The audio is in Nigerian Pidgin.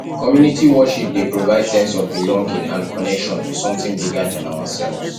community worship dey provide sense of belonging and connection to something bigger than ourselves